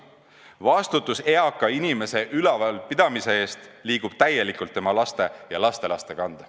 Vastutus eaka inimese ülevalpidamise eest liigub täielikult tema lastele ja lastelastele.